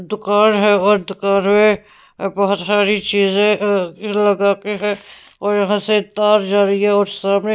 दुकान है और दुकान में बहुत सारी चीजें लगा के हैं और यहां से तार जा रही है और सामने--